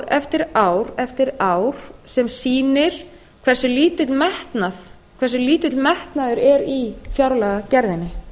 eftir ár eftir ár sem sýnir hversu lítill metnaður er í fjárlagagerðinni r síðan er endrum